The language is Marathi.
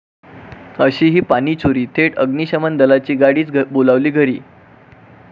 अशीही पाणीचोरी, थेट अग्निशमन दलाची गाडीच बोलावली घरी!